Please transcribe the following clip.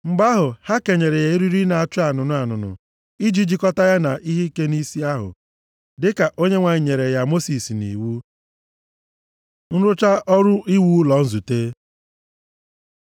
Mgbe ahụ, ha kenyere ya eriri na-acha anụnụ anụnụ i ji jikọta ya na ihe ike nʼisi ahụ, dịka Onyenwe anyị nyere ya Mosis nʼiwu. Nrụcha ọrụ iwu ụlọ nzute